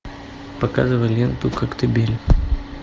показывай ленту коктебель